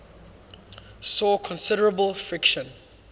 saw considerable friction